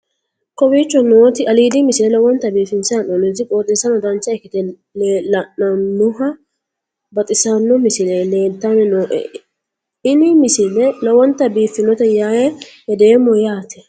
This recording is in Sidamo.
kowicho nooti aliidi misile lowonta biifinse haa'noonniti qooxeessano dancha ikkite la'annohano baxissanno misile leeltanni nooe ini misile lowonta biifffinnote yee hedeemmo yaate